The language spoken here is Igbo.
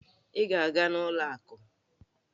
Ị ga-aga n'ụlọ akụ?